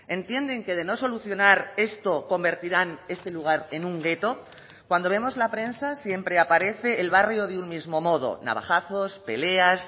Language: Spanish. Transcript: entienden que de no solucionar esto convertirán este lugar en un gueto cuando vemos la prensa siempre aparece el barrio de un mismo modo navajazos peleas